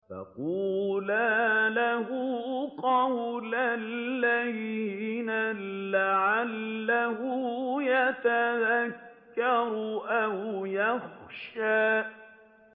فَقُولَا لَهُ قَوْلًا لَّيِّنًا لَّعَلَّهُ يَتَذَكَّرُ أَوْ يَخْشَىٰ